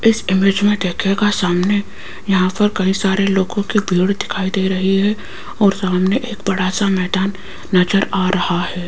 इस इमेज में देखियेगा सामने यहां पर कई सारे लोगों के भीड़ दिखाई दे रही है और सामने एक बड़ा सा मैदान नजर आ रहा है।